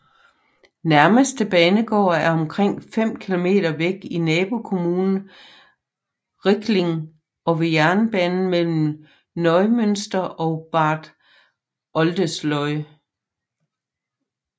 Nærmeste banegård er omkring fem km væk i nabokommunen Rickling ved jernbanen mellem Neumünster og Bad Oldesloe